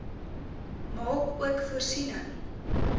maak ook voorsiening